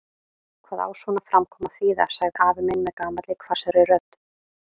Hvað á svona framkoma að þýða? sagði afi minn með gamalli hvassri rödd.